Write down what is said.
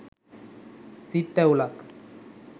සිත් තැවුලක්